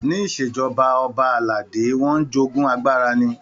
Ní ìṣèjọba ọba aládé wọ́n ń jogún agbára ni.